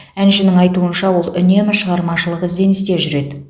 әншінің айтуынша ол үнемі шығармашылық ізденісте жүреді